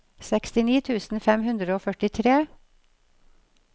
sekstini tusen fem hundre og førtitre